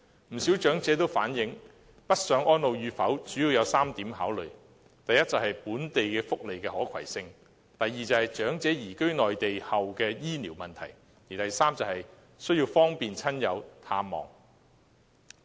不少長者反映，北上安老與否，主要有3點考慮：第一，是本地福利的可攜性；第二，是長者移居內地後的醫療問題；第三，是要方便親友探望。